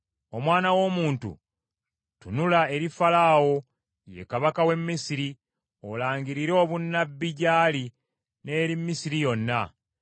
“Omwana w’omuntu, tunula eri Falaawo, ye kabaka w’e Misiri olangirire obunnabbi gy’ali n’eri Misiri yonna.